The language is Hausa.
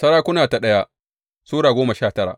daya Sarakuna Sura goma sha tara